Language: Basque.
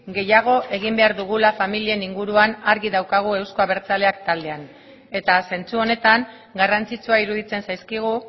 gehiago egin behar dugula familien inguruan argi daukagu euzko abertzaleak taldean eta zentzu honetan garrantzitsua iruditzen zaizkigu